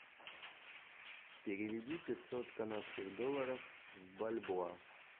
переведи пятьсот канадских долларов в бальбоа